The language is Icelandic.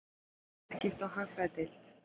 Viðskipta- og hagfræðideild.